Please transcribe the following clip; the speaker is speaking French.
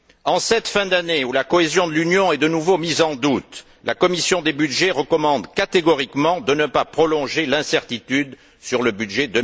En cette fin d'année, où la cohésion de l'Union est de nouveau mise en doute, la commission des budgets recommande catégoriquement de ne pas prolonger l'incertitude sur le budget